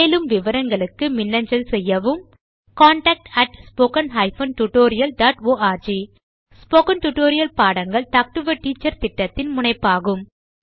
மேலும் விவரங்களுக்கு மின்னஞ்சல் செய்யவும் contactspoken tutorialorg ஸ்போகன் டுடோரியல் பாடங்கள் டாக் டு எ டீச்சர் திட்டத்தின் முனைப்பாகும்